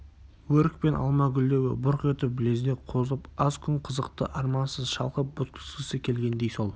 өрік пен алма гүлдеуі бұрқ етіп лезде қозып аз күн қызықты армансыз шалқып өткізгісі келгендей сол